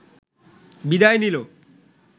বিদায় নিল